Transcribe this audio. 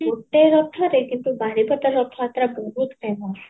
ଗୋଟେ ରଥ ଯେ କିନ୍ତୁ ବାରିପଦା ରଥ ଯାତ୍ରାଟା ବହୁତ famous